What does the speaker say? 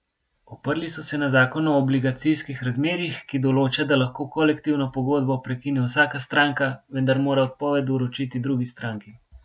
Oprli so se na zakon o obligacijskih razmerjih, ki določa, da lahko kolektivno pogodbo prekine vsaka stranka, vendar mora odpoved vročiti drugi stranki.